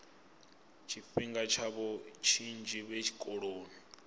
tshifhinga tshavho tshinzhi vhe tshikoloni